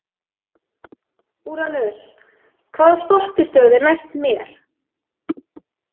Úranus, hvaða stoppistöð er næst mér?